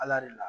Ala de la